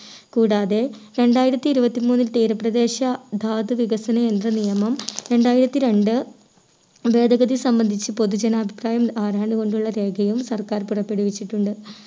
കൂടാതെ രണ്ടായിരത്തി ഇരുപത്തി മൂന്നിൽ തീരപ്രദേശ ധാതു വികസന യന്ത്ര നിയമം രണ്ടായിരത്തി രണ്ട് ഭേദഗതി സംബന്ധിച്ച് പൊതു ജനാഭിപ്രായം ആരാഞ്ഞു കൊണ്ടുള്ള രേഖയും സർക്കാർ പുറപ്പെടുവിച്ചിട്ടുണ്ട്